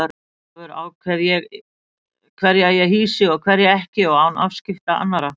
Sjálfur ákveð ég hverja ég hýsi og hverja ekki og án afskipta annarra.